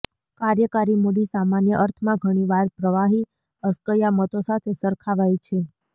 કાર્યકારી મૂડી સામાન્ય અર્થમાં ઘણીવાર પ્રવાહી અસ્કયામતો સાથે સરખાવાય છે